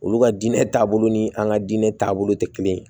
Olu ka diinɛ taabolo ni an ka diinɛ taabolo tɛ kelen ye